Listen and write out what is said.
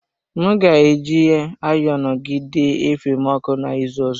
M ga-eji ayonu gị dee efe m ọkụ na ịzụ ọzọ.